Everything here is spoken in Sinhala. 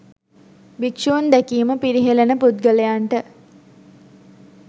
භික්ෂූන් දැකීම පිරිහෙළන පුද්ගලයන්ට